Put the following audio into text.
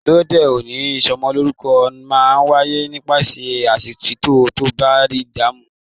Lóde òní, ìsọmọlorúkọ máa n wáyé nípasẹ̀ pásítọ̀ tàbí Imaamu.